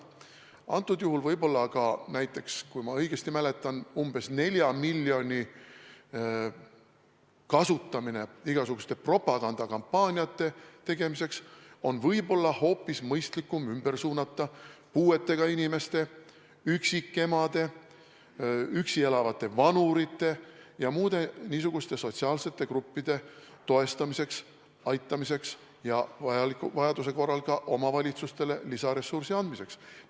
Antud juhul võib-olla ka, kui ma õigesti mäletan, umbes 4 miljoni igasuguste propagandakampaaniate tegemiseks kasutamise asemel on ehk hoopis mõistlikum suunata see ümber puuetega inimeste, üksikemade, üksi elavate vanurite ja muude niisuguste sotsiaalsete gruppide toestamiseks, aitamiseks ja vajaduse korral ka omavalitsustele lisaressursi andmiseks.